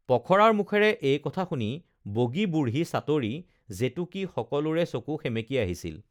পখৰাৰ মুখেৰে এই কথা শুনি বগী বুঢ়ী চাটৰী জেতুকী সকলোৰে চকু সেমেকি আহিছিল